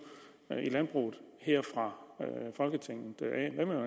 i landbruget fra folketinget